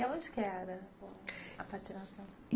E onde que era a patinação?